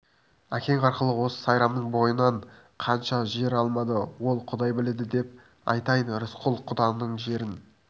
әкең арқылы осы сайрамның бойынан қанша жер алмады ол құдай біледі деп айтайын рысқұл құданың жерін